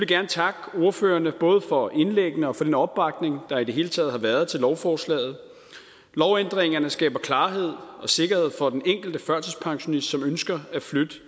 gerne takke ordførerne både for indlæggene og for den opbakning der i det hele taget har været til lovforslaget lovændringerne skaber klarhed og sikkerhed for den enkelte førtidspensionist som ønsker at flytte